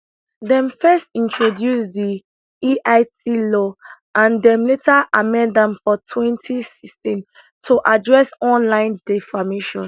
dem first introduce di eit law and dem later amend am for 2016 to address online defamation